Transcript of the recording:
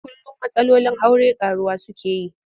Kullum matsalolin aure ƙaruwa suke yi.